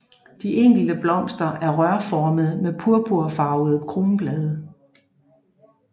De enkelte blomster er rørformede med purpurfarvede kronblade